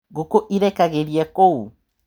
Ngũkũ ĩrekagĩria kũũ?